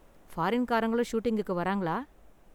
ஃபாரீன்காரங்களும் ஷூட்டிங்குக்கு வராங்களா?